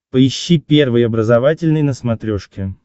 поищи первый образовательный на смотрешке